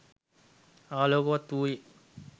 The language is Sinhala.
ආලෝක්වත් වූයේ